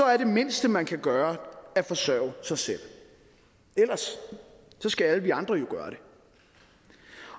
er det mindste man kan gøre at forsørge sig selv ellers skal alle vi andre jo gøre det